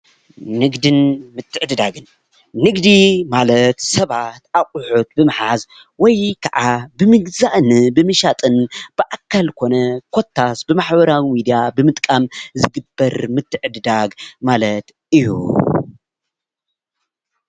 ንግድን ምትዕድዳግን ንግዲ ማለት ሰባት ኣቁሑት ብምሓዝ ወይካኣ ብምግዝኣን ብምሻጥን ብኣካል ኮነ ኮታስ ብማሕበራዊ ሚዳ ብምጥቃም ዝግበር ምትዕድዳግ ማለት እዩ።